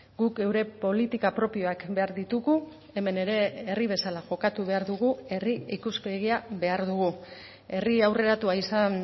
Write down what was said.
guk geure politika propioak behar ditugu hemen ere herri bezala jokatu behar dugu herri ikuspegia behar dugu herri aurreratua izan